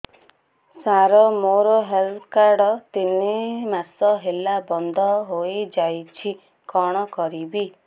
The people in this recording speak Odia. ସାର ମୋର ହେଲ୍ଥ କାର୍ଡ ତିନି ମାସ ହେଲା ବନ୍ଦ ହେଇଯାଇଛି କଣ କରିବି